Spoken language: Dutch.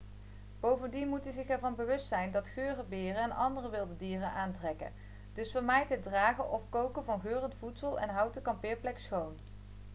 bovendien moet u zich ervan bewust zijn dat geuren beren en andere wilde dieren aantrekken dus vermijd het dragen of koken van geurend voedsel en houd de kampeerplek schoon